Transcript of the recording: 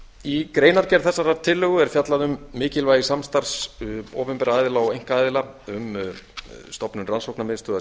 í greinargerð þessarar tillögu er fjallað um tillögu mikilvægi samstarfs opinberra aðila og einkaaðila um stofnun rannsóknarmiðstöðvar